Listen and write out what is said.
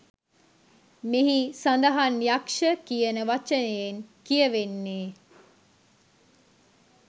මෙහි සඳහන් යක්ෂ කියන වචනයෙන් කියවෙන්නේ